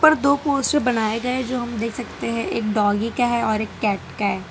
दो पोस्टर बनाए गए जो हम देख सकते हैं एक डॉगी का है और एक कैट का है।